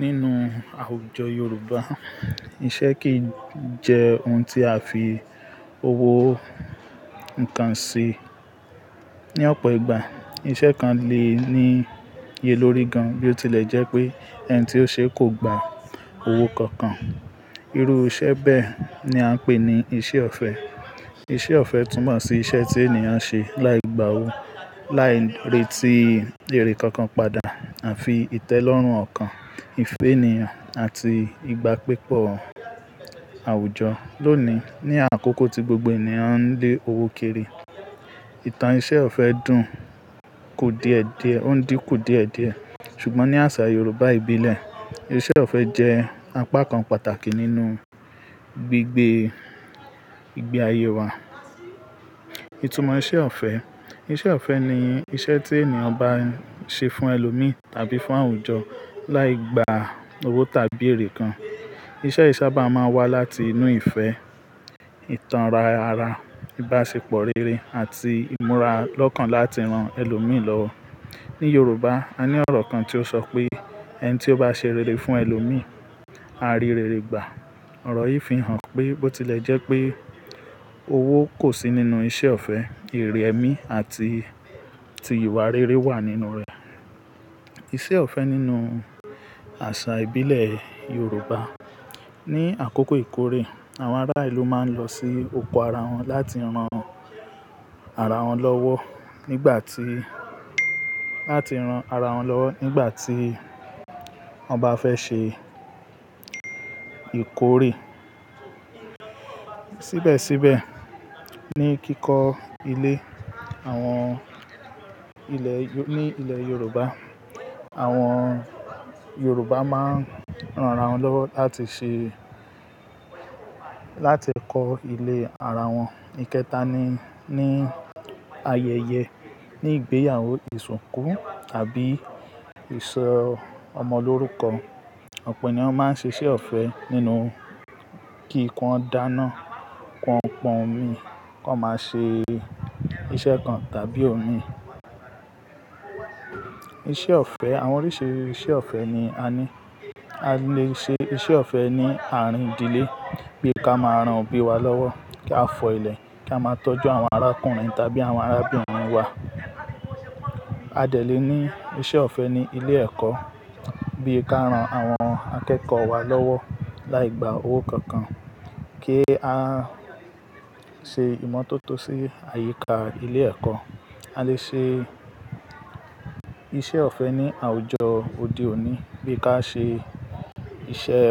Nínú àwùjọ Yorùbá, iṣẹ́ kì í jẹ́ ohun tí a fi owó ń kan sí. Ni ọ̀pọ̀ ìgbà, iṣẹ́ kan le ní iye lórí gan-an bí ó tilẹ̀ jẹ́ pé ẹni tí ó ṣe é kò gba owó kankan. Irú iṣẹ́ bẹ́ẹ̀ ni a ń pè ní iṣẹ́ ọ̀fẹ́. Iṣẹ́ ọ̀fẹ́ túmo si ṣe iṣẹ́ tí ènìyàn ṣe láì gba owó, láì retí èrè kankan padà, àfi ìtẹ́lọ́rùn ọ̀kan, ìfẹ́ ènìyàn àti ìgbàgbépọ̀ àwùjọ. Lónìí, ní àkókò tí gbogbo ènìyàn ń lé owó kiri, ìtàn iṣẹ́ ọ̀fẹ́ dùn kò díẹ̀-diẹ̀, ó ń dí kò díẹ̀-diẹ̀, ṣùgbọ́n ní àṣà Yorùbá ìbílẹ̀, iṣẹ́ ọ̀fẹ́ jẹ́ apá kan pàtàkì nínú gbígbé igbe ayé wa. Ìtumọ̀ iṣẹ́ ọ̀fẹ́. Iṣẹ́ ọ̀fẹ́ ni iṣẹ́ tí ènìyàn bá ṣe fún ẹlòmíì tàbí fún àwùjọ láì gba owó tàbí èrè kan. Iṣẹ́ yìí sábà máa ń wá láti inú ìfẹ́, ìtánra ara, ìbáṣepọ̀ rere àti ìmúra lọ́kàn láti ran ẹlòmíì lọ́wọ́. Ni Yorùbá, a ní ọ̀rọ̀ kan tí ó sọ pé "ẹni tí ó bá ṣe rere fún ẹlòmíì, a rí rere gbà." Ọ̀rọ̀ yìí fi hàn pé ó tilẹ̀ jẹ́ pé owó kò sí nínú iṣẹ́ ọ̀fẹ́, ìrẹ̀mi àti, àti ìwà rere wà nínú rẹ̀. Iṣẹ́ ọ̀fẹ́ nínú àṣà ìbílẹ̀ Yorùbá. Ni àkókò ìkórè, àwọn ará ìlú máa ń lọ sí oko ara wọn láti ran ara wọn lọ́wọ́ nígbà tí, láti ran ara wọn lọ́wọ́ nígbà tí wọ́n bá fẹ́ ṣe ìkórè. Síbẹ̀síbẹ̀, ní kíkọ́ ilé, àwọn ilẹ̀ Yo-- ní ilẹ̀ Yorùbá, àwọn Yorùbá máa ń ran ara wọn lọ́wọ́ láti ṣe, láti kọ́ ilé ara wọn. Ekéta ni, ní ayẹyẹ. Ni ìgbéyàwó, ìsìnkú tàbí ìṣọ ọmọ lórúkọ, ọ̀pọ̀ ènìyàn máa ń ṣe iṣẹ́ ọ̀fẹ́ nínú kí ikùn ó dáná, kí wọ́n pọn omi, kí wọ́n máa ṣe iṣẹ́ kan tàbí omi. Iṣẹ́ ọ̀fẹ́. Àwọn oríṣi iṣẹ́ ọ̀fẹ́ ni a ní. A le ṣe iṣẹ́ ọ̀fẹ́ ní àárín ìdílé bí ká máa ran òbí wa lọ́wọ́, kí a fọ́ ilẹ̀, kí a máa tọ́jú àwọn arákùnrin tàbí àwọn arábìnrin wa. A lè ní iṣẹ́ ọ̀fẹ́ ní ilé ẹ̀kọ́, bí ká ran àwọn akẹ́kọ̀ọ́ wa lọ́wọ́ láì gba owó kankan, kí a ṣe ìmọ̀tótó sí àyíká ilé ẹ̀kọ́. A lè ṣe iṣẹ́ ọ̀fẹ́ ní àwùjọ òde òní bí ká ṣe iṣẹ́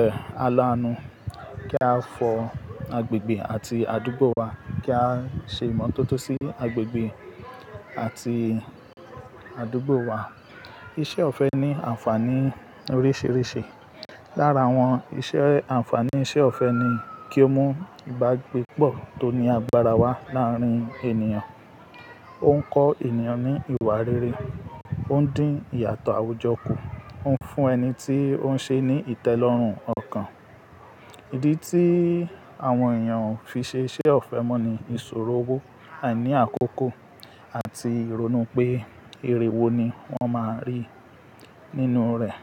alánú, kí a fọ́ agbègbè àti àdúgbò wa, kí á ṣe ìmọ̀tótó sí agbègbè àti àdúgbò wa. Iṣẹ́ ọ̀fẹ́ ní ànfàní oríṣiríṣi. Lára wọn, iṣẹ́ ànfàní iṣẹ́ ọ̀fẹ́ ni kí ó mú ìbágbépọ̀ tó ní agbára wá láàárín ènìyàn. Ó ń kọ́ ènìyàn ní ìwà rere, ó ń dín ìyàtọ̀ àwùjọ kù, ó ń fún ẹni tí ó ń ṣe é ní ìtẹ́lọ́rùn ọ̀kan. Ìdí tí àwọn èèyàn fi ṣe iṣẹ́ ọ̀fẹ́ mọ́ ni ìṣòro owó, àìní àkókò àti ìrónu pé ère wo ni wọ́n máa rí nínú rẹ̀.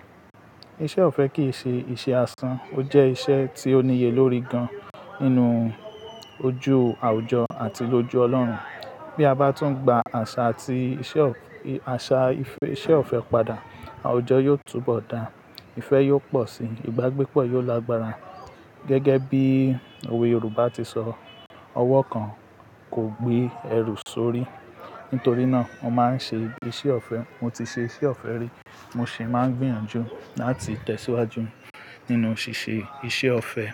Iṣẹ́ ọ̀fẹ́ kì í ṣe iṣẹ́ asán, ó jẹ́ iṣẹ́ tí ó níye lórí gan nínú ojú àwùjọ àti lójú Ọlọ́run. Bí a bá tún gba àṣà àti iṣẹ́ ọ-- àṣà ìfe-- iṣẹ́ ọ̀fẹ́ padà, àwùjọ yóò túbọ̀ dà, ìfẹ́ yóò pọ̀ síi, ìbágbépọ̀ yóò lágbára. Gẹ́gẹ́ bí òwe Yorùbá ti sọ, "ọwọ́ kan kò gbé ẹrù sórí." Nítorí náà, mo máa ń ṣe iṣẹ́ ọ̀fẹ́, mo ti ṣe iṣẹ́ ọ̀fẹ́ rí, mo sì máa ń gbìyànjú láti tẹ̀síwájú nínú ṣíṣe iṣẹ́ ọ̀fẹ́.